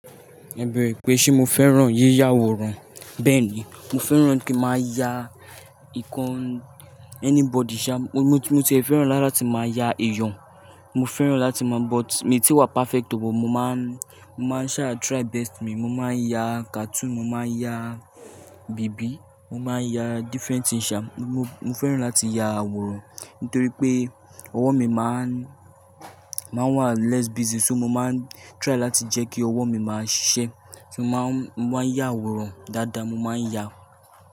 Ẹ̀ bẹere pé ṣé mo fẹ́ràn yíyá àwòrán? Bẹ́ẹ̀ ni, mo fẹ́ràn kí máa ya ìkan anybody, mo ti fẹ́ràn lára ti máa ya èèyàn. Mo fẹ́ràn láti máa but mi ò tíì wá perfect o but mo máa, mo máa ṣa try best mi. Mo máa ya cartoon, mo máa ya bèbí, mo máa ya different things. Mo fẹ́ràn láti ya àwòrán torí pé ọwọ́ mi máa ń wà less busy so mo máa ń try láti jẹ́ kí ọwọ́ mi máa sí ṣẹ́. Mo máa ń ya àwòrán dáadáa, mo máa ń ya.